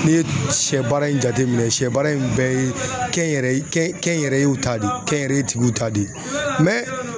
Ne ye sɛ baara in jateminɛ sɛ baara in bɛɛ ye kɛnyɛrɛye yɛrɛ yew ta de kɛnyɛrɛye tigiw ta de